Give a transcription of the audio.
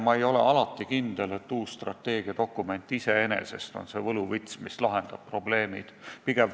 Ma ei ole alati kindel, et uus strateegiadokument iseenesest on see võluvits, mis lahendab probleemid.